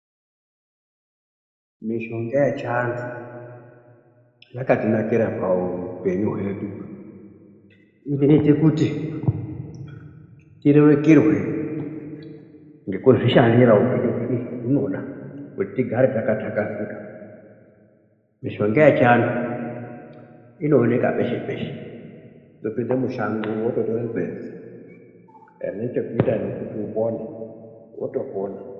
Mishonga yechiantu yakatinakira paupenyu hwedu, inoite kuti tirerukirwe ngekuzvishandira upenyu hwedu zvahunoda kuti tigare takathakazika. Mishonga yechiantu inooneka peshe peshe-peshe, kutopinda mushango wototore gwenzi rine chekuita nekuti upone wotopona.